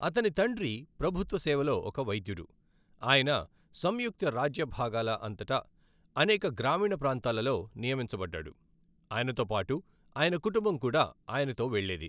అతని తండ్రి ప్రభుత్వ సేవలో ఒక వైద్యుడు, ఆయన సంయుక్త రాజ్యభాగాల అంతటా అనేక గ్రామీణ ప్రాంతాలలో నియమించబడ్డాడు, ఆయనతో పాటు ఆయన కుటుంబం కూడా ఆయనతో వెళ్ళేది.